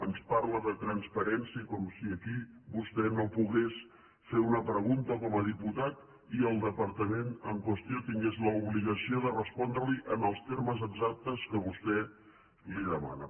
ens parla de transparència com si aquí vostè no pogués fer una pregunta com a diputat i el departa·ment en qüestió tingués l’obligació de respondre·li en els termes exactes que vostè li demana